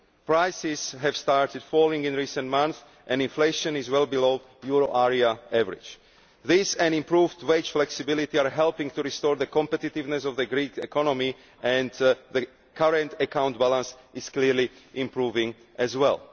Prices have started falling in recent months and inflation is well below the euro area average. This, together with an improved wage flexibility, is helping to restore the competitiveness of the Greek economy and the current account balance is clearly improving as well.